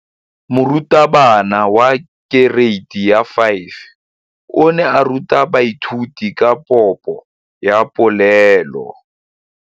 Moratabana wa kereiti ya 5 o ne a ruta baithuti ka popô ya polelô.